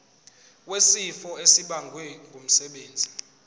wesifo esibagwe ngumsebenzi